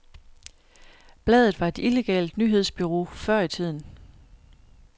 Bladet var et illegalt nyhedsbureau før i tiden.